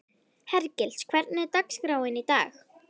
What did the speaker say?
Hergils, hvernig er dagskráin í dag?